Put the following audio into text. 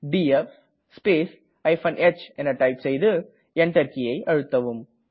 DF space h type செய்து Enter கீயை அழுத்தவும்